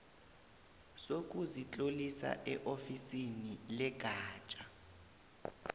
sokuzitlolisa eofisini legatja